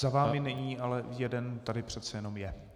Za vámi není, ale jeden tady přece jenom je.